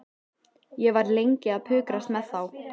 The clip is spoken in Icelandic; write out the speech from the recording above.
Ég var lengi að pukrast með þá.